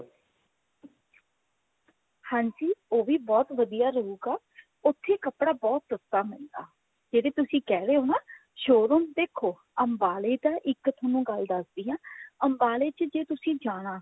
ਹਾਂਜੀ ਉਹ ਵੀ ਬਹੁਤ ਵਧੀਆ ਰਹੂਗਾ ਉੱਥੇ ਕੱਪੜਾ ਬਹੁਤ ਸਸਤਾ ਮਿਲਦਾ ਜਿਹੜੇ ਤੁਸੀਂ ਕਹਿ ਰਹੇ ਹੋ ਨਾ showroom ਦੇਖੋ ਅੰਬਾਲੇ ਤਾ ਇੱਕ ਤੁਹਾਨੂੰ ਗੱਲ ਦਸਦੀ ਹਾਂ ਅੰਬਾਲੇ ਚ ਜੇ ਤੁਸੀਂ ਜਾਣਾ